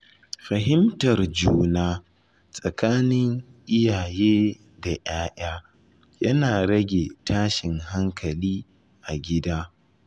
Fahimtar juna tsakanin iyaye da ‘ya’ya yana rage tashin hankali a gida.